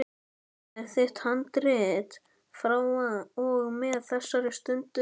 Þetta er þitt handrit frá og með þessari stundu.